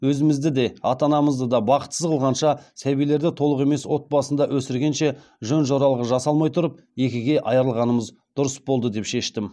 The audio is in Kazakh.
өзімізді де ата анамызды да бақытсыз қылғанша сәбилерді толық емес отбасында өсіргенше жөн жоралғы жасалмаи тұрып екіге аи ырылғанымыз дұрыс болды деп шештім